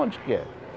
Onde que é?